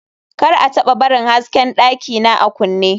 kar a taba barin hasken dakina a kunne